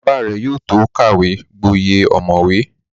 Bàbá rẹ̀ yóò tó kàwé gboyè ọ̀mọ̀wé